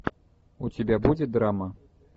у тебя будет драма